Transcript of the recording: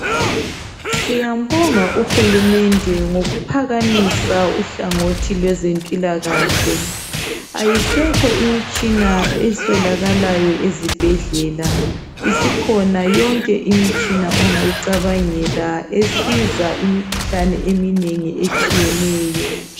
Siyambonga uhulumende ngokuphakamisa uhlangothi lwezempilakahle. Ayisekho imitshina eswelakalayo ezibhedlela. Isikhona yonke imitshina ongayicabangela esiza imikhuhlane eminengi etshiyeneyo.